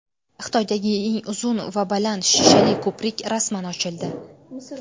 Xitoydagi eng uzun va baland shishali ko‘prik rasman ochildi.